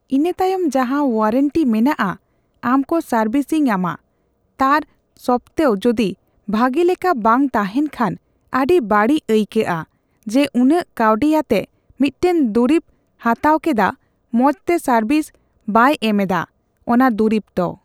ᱤᱱᱟᱹᱛᱟᱭᱚᱢ ᱡᱟᱦᱟᱸ ᱳᱣᱟᱨᱮᱱᱴᱤ ᱢᱮᱱᱟᱜᱼᱟ ᱟᱢᱠᱚ ᱥᱟᱨᱵᱤᱥᱤᱝ ᱟᱢᱟ ᱛᱟᱨ ᱥᱚᱯᱛᱮᱣ ᱡᱩᱫᱤ ᱵᱷᱟᱜᱤ ᱞᱮᱠᱟ ᱵᱟᱝ ᱛᱟᱦᱮᱱ ᱠᱷᱟᱱ ᱟᱹᱰᱤ ᱵᱟᱹᱲᱤᱡ ᱟᱹᱭᱠᱟᱹᱜᱼᱟ ᱡᱮ ᱩᱱᱟᱹᱜ ᱠᱟᱣᱰᱤ ᱟᱛᱮᱜ ᱢᱤᱫᱴᱮᱱ ᱫᱩᱨᱤᱵ ᱦᱟᱛᱣ ᱠᱮᱫᱟ ᱢᱚᱪᱛᱮ ᱥᱟᱨᱵᱤᱥᱵᱟᱭ ᱮᱢ ᱮᱫᱟ ᱚᱱᱟ ᱫᱩᱨᱤᱵ ᱛᱚ